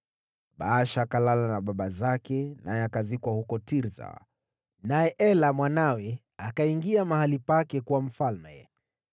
Baasha akalala na baba zake naye akazikwa huko Tirsa. Naye Ela mwanawe akawa mfalme baada yake.